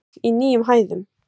Gull í nýjum hæðum